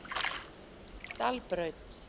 Dalbraut